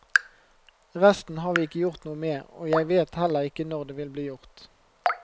Resten har vi ikke gjort noe med, og jeg vet heller ikke når det vil bli gjort.